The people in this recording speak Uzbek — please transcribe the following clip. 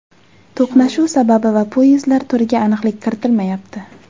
To‘qnashuv sababi va poyezdlar turiga aniqlik kiritilmayapti.